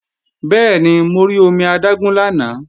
Bẹ́ẹ̀ni, mo rí omi adágún lánàá